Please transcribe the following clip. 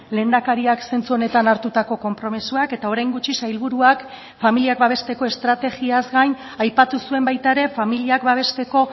lehendakariak zentzu honetan hartutako konpromisoak eta orain gutxi sailburuak familiak babesteko estrategiaz gain aipatu zuen baita ere familiak babesteko